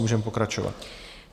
Můžeme pokračovat.